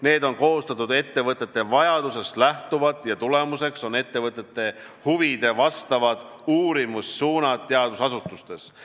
Need on koostatud ettevõtete vajadustest lähtuvalt ja tulemuseks on ettevõtete huvidele vastavad uurimissuunad teadusasutustes.